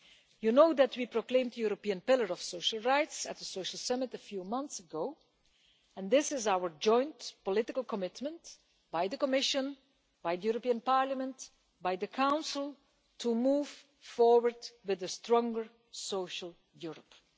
You know that we proclaimed the European Pillar of Social Rights at the Social Summit a few months ago, and this is our joint political commitment by the Commission, by the European Parliament and by the Council to move forward with the stronger social Europe.